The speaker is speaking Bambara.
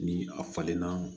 Ni a falenna